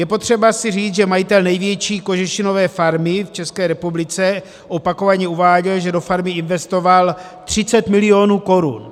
Je potřeba si říct, že majitel největší kožešinové farmy v České republice opakovaně uváděl, že do farmy investoval 30 milionů korun.